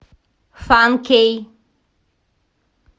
фан кей